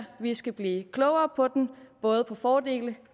vi skal blive klogere på den både på dens fordele